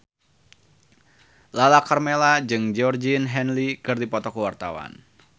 Lala Karmela jeung Georgie Henley keur dipoto ku wartawan